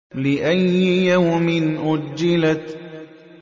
لِأَيِّ يَوْمٍ أُجِّلَتْ